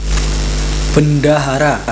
Bendahara